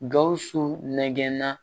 Gawusu nɛgɛn na